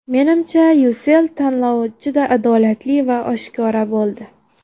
Menimcha, Ucell tanlovi juda adolatli va oshkora bo‘ldi.